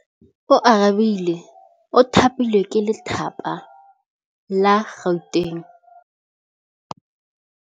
Oarabile o thapilwe ke lephata la Gauteng.